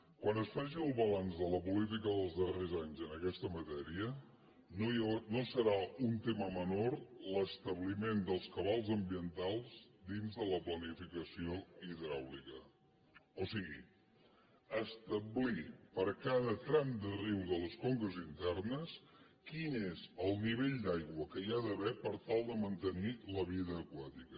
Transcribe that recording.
quan es faci el balanç de la política dels darrers anys en aquesta matèria no serà un tema menor l’establiment dels cabals ambientals dins de la planificació hidràulica o sigui establir per cada tram de riu de les conques internes quin és el nivell d’aigua que hi ha d’haver per tal de mantenir la vida aquàtica